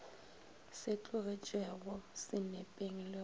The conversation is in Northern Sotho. se tlogetšwego senepeng le go